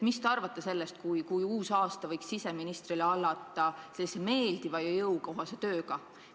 Mis te arvate sellest, kui uus aasta võiks siseministrile alata meeldiva ja jõukohase tööga?